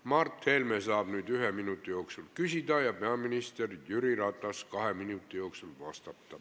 Mart Helme saab nüüd ühe minuti jooksul küsida ja peaminister Jüri Ratas kahe minuti jooksul vastata.